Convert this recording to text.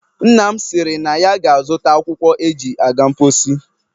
Nna m sịrị na ya ga-azụta akwụkwọ e ji aga mposi.